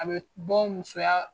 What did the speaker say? A bɛ bɔ musoya